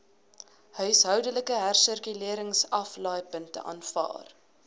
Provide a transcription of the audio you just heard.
huishoudelike hersirkuleringsaflaaipunte aanvaar